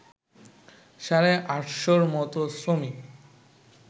সাড়ে আটশোর মতো শ্রমিক